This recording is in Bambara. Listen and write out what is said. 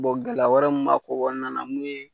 gɛlɛya wɛrɛ mun ko kɔnɔna na mun ye